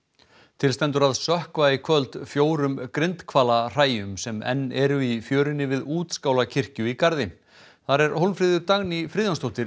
til stendur að sökkva í kvöld fjórum grindhvala hræjum sem enn eru í fjörunni við útskála kirkju í Garði þar er Hólmfríður Dagný Friðjónsdóttir